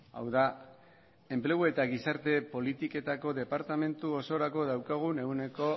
hau da enplegu eta gizarte politiketako departamentu osorako daukagun ehuneko